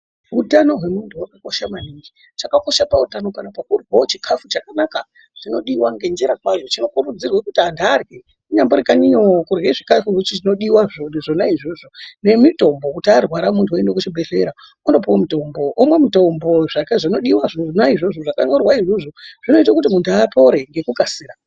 Utano hwemunhu wakakosha maningi, chakakosha pautano hwemunhu chikafu chakanaka chinodiwa ngenjira kwayo chinokurudzirwa kuti anhu arye kunyambori kanyiyo kurwe zvikafu zvinodiwa zvona izvozvo nemitombo kuti munhu aende kuzvibhedhlera koopuwa mutombo, unopuwa mutombo, zvake zvinodiwa zvona izvozvo zvakanyorwa izvozvo zvinoita kuti wanhu wapore ngekukasira.